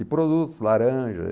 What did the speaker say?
E produtos, laranja.